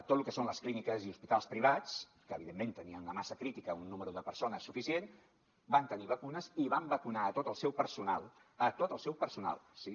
tot lo que són les clíniques i hospitals privats que evidentment tenien una massa crítica un número de persones suficient van tenir vacunes i van vacunar a tot el seu personal a tot el seu personal sí